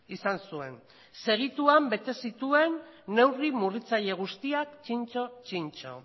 izan zuen segituan bete zituen neurri murriztaile guztiak txintxo txintxo